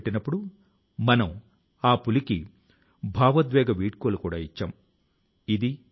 అలాంటి వారిలో సెర్బియా కు చెందిన విద్యావేత్త డాక్టర్ మోమిర్ నికిచ్ ఒకరు